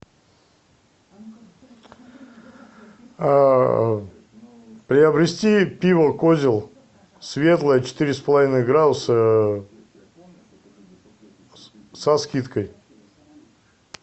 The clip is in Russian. приобрести пиво козел светлое четыре с половиной градуса со скидкой